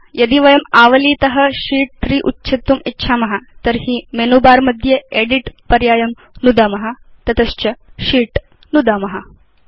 यथा यदि वयम् आवलीत शीत् 3 उच्छेत्तुम् इच्छाम तर्हि मेनु बर मध्ये एदित् पर्यायं नुदाम तत च शीत् नुदाम